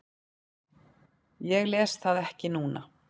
Ég les það ekki núna.